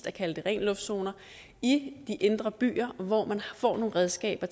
at kalde dem ren luft zoner i de indre byer hvor man får nogle redskaber